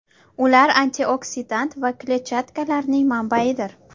Ular antioksidant va kletchatkalarning manbaidir.